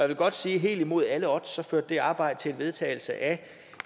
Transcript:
vil godt sige at helt imod alle odds førte det arbejde til en vedtagelse af